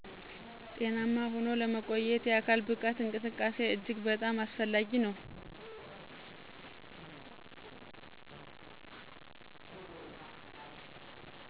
ጤናማ ሁኖ ለመቆየት የአካል ብቃት እንቅስቃሴ እጅግ በጣም አስፈላጊ ነው።